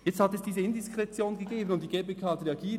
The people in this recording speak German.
Nun hat es diese Indiskretion gegeben, und die GPK hat reagiert.